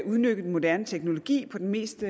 udnytte den moderne teknologi på den mest